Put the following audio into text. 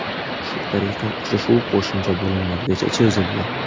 Shu tariqa uchrashuv qo‘shimcha bo‘limlargacha cho‘zildi.